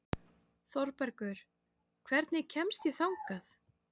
Þorbergur, hvernig kemst ég þangað?